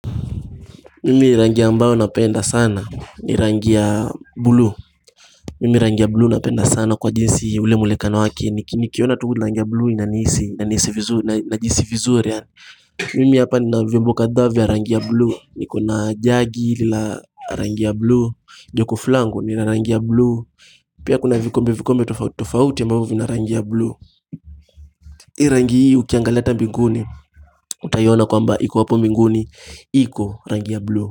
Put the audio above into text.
Mimi rangi ambayo napenda sana ni rangi ya blue Mimi rangi ya blue napenda sana kwa jinsi ule mwonekano wake ni Nikiona tu rangi ya blue inanihisi najihisi vizuri yaani Mimi hapa nina vyombo kadhaa vya rangi ya blue Nikona jagi la rangi ya blue Jokofu langu ni la rangi ya blue Pia kuna vikombe vikombe tofauti tofauti ambavyo vina rangi ya blue rangi hii ukiangalia ata mbinguni Utaiona kwamba iko hapo mbinguni iko rangi ya blue.